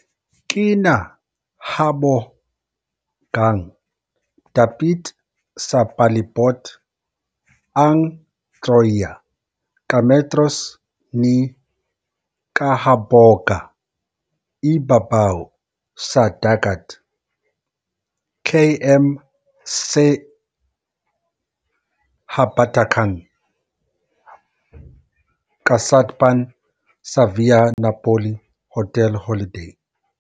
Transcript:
Kinahabogang dapit sa palibot ang Troia, ka metros ni kahaboga ibabaw sa dagat, km sa habagatan-kasadpan sa Via Napoli Hotel Holiday.